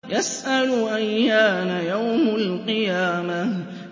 يَسْأَلُ أَيَّانَ يَوْمُ الْقِيَامَةِ